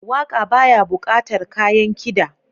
Waƙa baya buƙatar kayan kida.